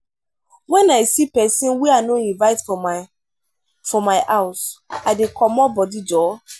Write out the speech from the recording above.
wen i see pesin wey i no invite for my for my house i dey comot body joor.